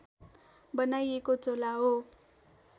बनाइएको झोला हो